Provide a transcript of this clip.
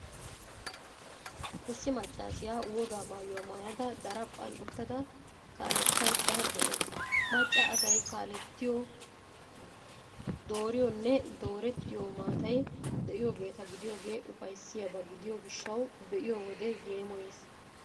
Issi maaccaasiyaa wogaa maayuwaa maayada, daraphphan uttada kaalettaydda de'awusu. Macca asay kaalettiyoo, dooriyoonne doorettiyoo maatay de'iyoogeeta gidiyoogee ufayssiyaaba gidiyo gishshawu be'iyoo wode yeemooyees.